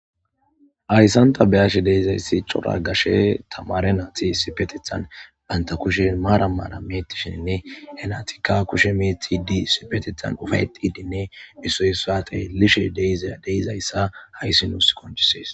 ayssanta beyashe deizayssi cora gashe tamare naati sipetethan banta kushe maara maana meetishinne henatika kushe meetidi sipetethan ufayedidinne issoy saate lishe ddeizayssa hayssi nuus koncisees